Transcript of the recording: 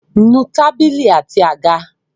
Nu tábìlì àti àga!